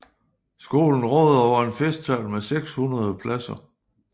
Skolen råder over en festsal med 600 pladser